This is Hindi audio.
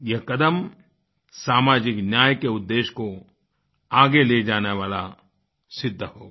यह कदम सामाजिक न्याय के उद्देश्य को आगे ले जाने वाला सिद्ध होगा